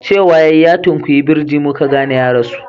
Cewa ya yi, "ya tunkuyi birji" mu ka gane ya rasu